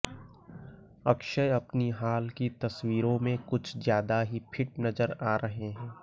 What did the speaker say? अक्षय अपनी हाल की तस्वीरों में कुछ ज्यादा ही फिट नजर आ रहे हैं